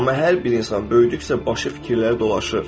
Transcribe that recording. Amma hər bir insan böyüdükcə başı fikirləri dolaşır.